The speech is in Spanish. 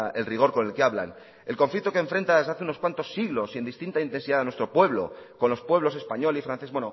el rigor con el que hablan el conflicto que enfrenta desde hace unos cuantos siglos en distinta intensidad en nuestro pueblo con los pueblos español y francés